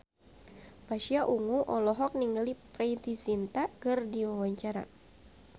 Pasha Ungu olohok ningali Preity Zinta keur diwawancara